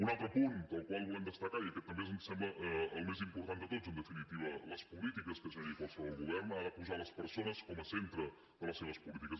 un altre punt el qual volem destacar i aquest també ens sembla el més important de tots en definitiva les polítiques que generi qualsevol govern ha de posar les persones com a centre de les seves polítiques